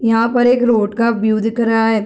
यहाँ पर एक रोड का व्यू दिख रहा है।